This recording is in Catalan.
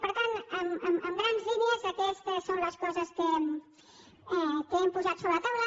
per tant en grans línies aquestes són les coses que hem posat sobre la taula